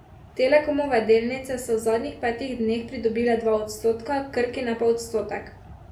Telekomove delnice so v zadnjih petih dneh pridobile dva odstotka, Krkine pa odstotek.